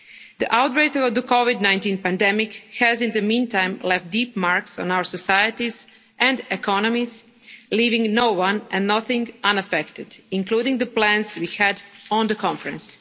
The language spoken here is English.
The outbreak of the COVID 19 pandemic has, in the meantime, left deep marks on our societies and economies, leaving no one and nothing unaffected, including the plans we had for the conference.